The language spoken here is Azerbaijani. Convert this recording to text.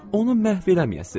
onu məhv eləməyəsiz.